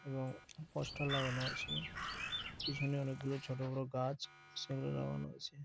এবং পোস্টার লাগানো আছে পিছনে অনেক ছোট বড় গাছ সেগুলো লাগানো হয়েছে।